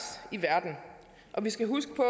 i verden og vi skal huske på